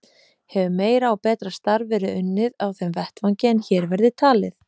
Hefur meira og betra starf verið unnið á þeim vettvangi en hér verði talið.